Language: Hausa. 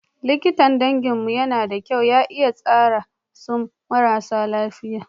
Likitan danginmu yana da kyau ya iya taran su marasa lafiya.